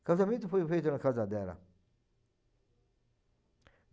O casamento foi feito na casa dela.